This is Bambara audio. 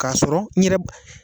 Kasɔrɔ n yɛrɛ b